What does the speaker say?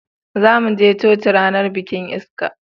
zamu je coci ranar bikin ista